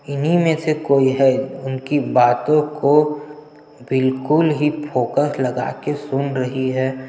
इन्ही में से कोई है उनकी बातो को बिल्कुल ही फोकस लगा के सुन रही है।